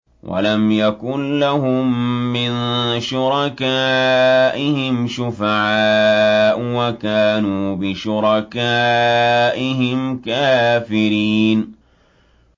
وَلَمْ يَكُن لَّهُم مِّن شُرَكَائِهِمْ شُفَعَاءُ وَكَانُوا بِشُرَكَائِهِمْ كَافِرِينَ